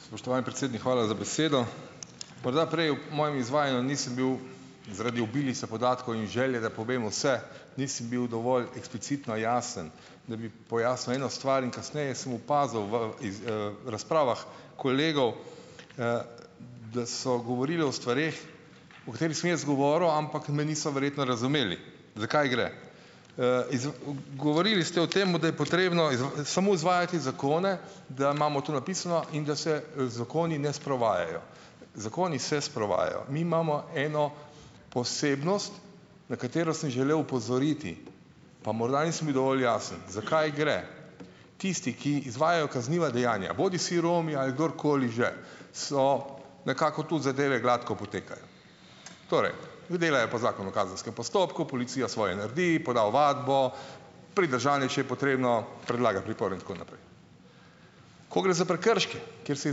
Spoštovani predsednik, hvala za besedo. Morda prej ob mojem izvajanju nisem bil zaradi obilice podatkov in želje, da povem vse, nisem bil dovolj eksplicitno jasen, da bi pojasnil eno stvar, in kasneje sem opazil v iz, razpravah kolegov, da so govorili o stvareh, o katerih sem jaz govoril, ampak me niso verjetno razumeli, za kaj gre. Iz v ven. Govorili ste o tem, da je potrebno samo izvajati zakone, da imamo to napisano in da se, zakoni ne sprovajajo. Zakoni se sprovajajo. Mi imamo eno posebnost, na katero sem želel opozoriti pa morda nisem bil dovolj jasen, za kaj gre. Tisti, ki izvajajo kazniva dejanja, bodisi Romi, ali kdorkoli že, so nekako tu, zadeve gladko potekajo. Torej, delajo po Zakonu o kazenskem postopku, policija svoje naredi, poda ovadbo, pridržanje, če je potrebno, predlaga pripor in tako naprej. Ko gre za prekrške, kjer se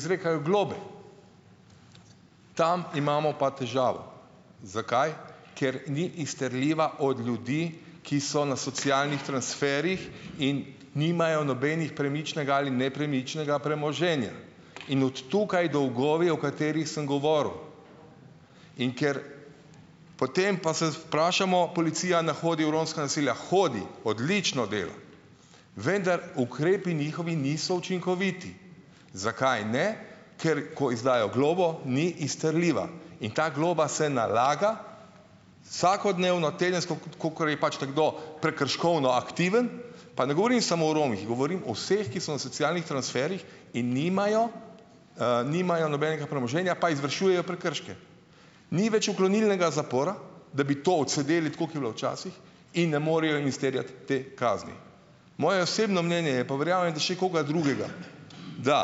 izrekajo globe, tam imamo pa težavo. Zakaj? Ker ni izterljiva od ljudi, ki so na socialnih transferjih in nimajo nobenega, premičnega ali nepremičnega premoženja. In od tukaj dolgovi, o katerih sem govoril. In ker potem pa se vprašamo, policija ne hodi v romska naselja. Hodi. Odlično dela. Vendar ukrepi njihovi niso učinkoviti. Zakaj ne? Ker ko izdajo globo, ni izterljiva. In ta globa se nalaga, vsakodnevno, tedensko, kakor je pač nekdo prekrškovno aktiven. Pa ne govorim samo o Romih, govorim o vseh, ki so na socialnih transferjih in nimajo, nimajo nobenega premoženja pa izvršujejo prekrške. Ni več uklonilnega zapora, da bi to odsedeli, tako kot je bilo včasih in ne morejo izterjati te kazni. Moje osebno mnenje je, pa verjamem, da še koga drugega, da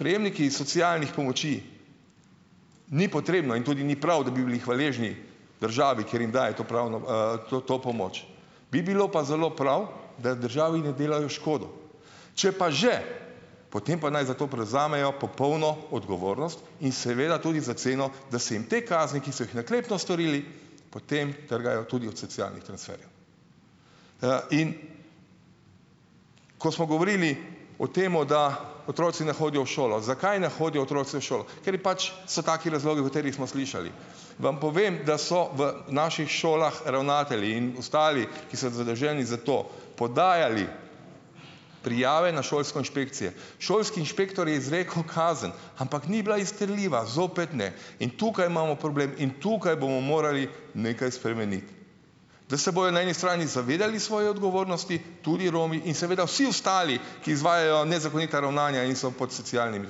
prejemniki iz socialnih pomoči, ni potrebno in tudi ni prav, da bi bili hvaležni državi, ker jim daje to pravno, to to pomoč. Bi bilo pa zelo prav, da državi ne delajo škodo. Če pa že, potem pa naj za to prevzamejo popolno odgovornost in seveda tudi za ceno, da se jim te kazni, ki so jih naklepno storili, potem trgajo tudi od socialnih transferjev. In ko smo govorili o tem, da otroci ne hodijo v šolo. Zakaj ne hodijo otroci v šolo? Kateri pač, so taki razlogi, o katerih smo slišali. Vam povem, da so v naših šolah ravnatelji in ostali, ki so zadolženi za to, podajali prijave na šolsko inšpekcije. Šolski inšpektor je izrekel kazen, ampak ni bila izterljiva, zopet ne. In tukaj imamo problem in tukaj bomo morali nekaj spremeniti. Da se bojo na eni strani zavedali svoje odgovornosti tudi Romi in seveda vsi ostali, ki izvajajo nezakonita ravnanja in so pod socialnimi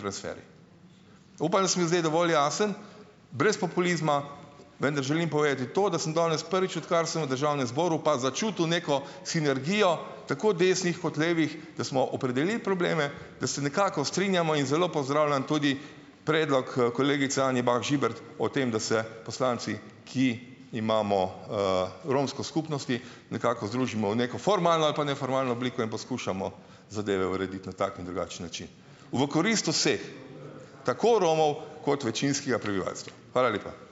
transferji. Upam, da sem bil zdaj dovolj jasen, brez populizma, vendar želim povedati to, da sem danes prvič, odkar sem v državnem zboru, pa začutil neko sinergijo tako desnih kot levih, da smo opredelili probleme, da se nekako strinjamo, in zelo pozdravljam tudi predlog kolegice Anje Bah Žibert o tem, da se poslanci, ki imamo, romsko skupnost, nekako združimo v neko formalno ali pa neformalno obliko in poskušamo zadeve urediti na tak in drugačen način v korist vseh, tako Romov kot večinskega prebivalstva. Hvala lepa.